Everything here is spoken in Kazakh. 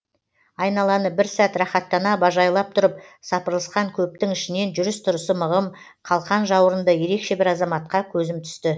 айналаны бір сәт рахаттана бажайлап тұрып сапырылысқан көптің ішінен жүріс тұрысы мығым қалқан жауырынды ерекше бір азаматқа көзім түсті